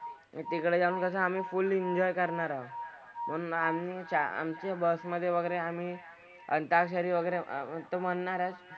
तिकडे जाऊन कसं आम्ही फुल एन्जॉय करणार आहोत. म्हणून आम्ही आमची बस मधे वगैरे आम्ही अंताक्षरी वगैरे तर ते म्हणणार आहेत.